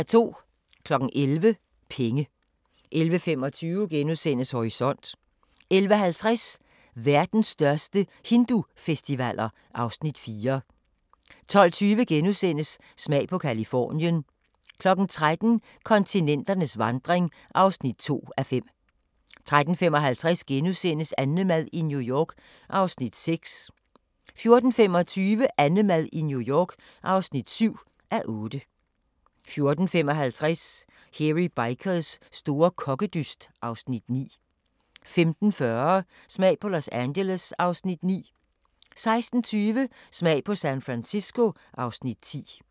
11:00: Penge 11:25: Horisont * 11:50: Verdens største hindufestivaler (Afs. 4) 12:20: Smag på Californien (Afs. 24)* 13:00: Kontinenternes vandring (2:5) 13:55: AnneMad i New York (6:8)* 14:25: AnneMad i New York (7:8) 14:55: Hairy Bikers store kokkedyst (Afs. 9) 15:40: Smag på Los Angeles (Afs. 9) 16:20: Smag på San Francisco (Afs. 10)